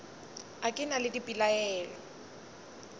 a ke na le dipelaelo